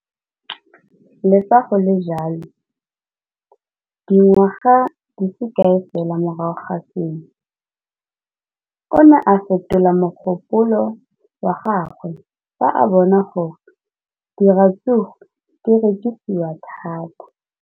Le fa go le jalo, dingwaga di se kae fela morago ga seno, o ne a fetola mogopolo wa gagwe fa a bona gore diratsuru di rekisiwa thata.